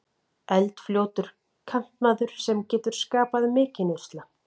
Eldfljótur kantmaður sem getur skapað mikinn usla.